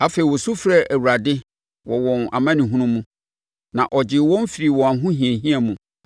Afei wɔsu frɛɛ Awurade wɔ wɔn amanehunu mu, na ɔgyee wɔn firii wɔn ahohiahia mu.